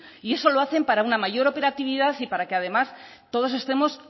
y eso lo hacen para una mayor operatividad y para que además todos estemos